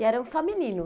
E eram só menino?